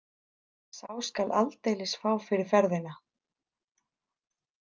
Sá skal aldeilis fá fyrir ferðina